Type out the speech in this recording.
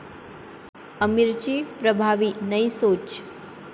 आमिरची प्रभावी 'नयी सोच'